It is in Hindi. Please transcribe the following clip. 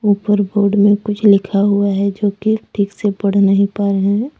ऊपर बोर्ड में कुछ लिखा हुआ है जो कि ठीक से पढ़ नहीं पा रहे हैं।